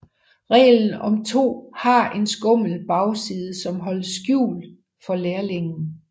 Reglen om to har en skummel bagside som holdes skjult for lærlingen